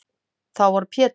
Þá var Pétur